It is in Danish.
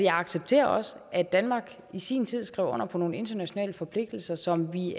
jeg accepterer også at danmark i sin tid skrev under på nogle internationale forpligtelser som vi